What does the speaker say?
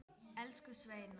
Elsku Sveina.